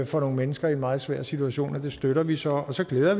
for nogle mennesker i en meget svær situation og det støtter vi så og så glæder